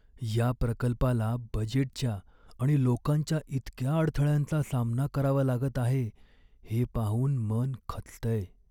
या प्रकल्पाला बजेटच्या आणि लोकांच्या इतक्या अडथळ्यांचा सामना करावा लागत आहे हे पाहून मन खचतंय.